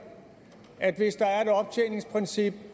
at hvis der er et optjeningsprincip